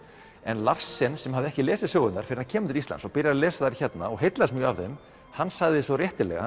en Larsen sem hafði ekki lesið sögurnar fyrr en hann kemur til Íslands og byrjar að lesa þær hérna og heillast mjög af þeim hann sagði svo réttilega